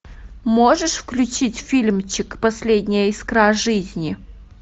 можешь включить фильмчик последняя искра жизни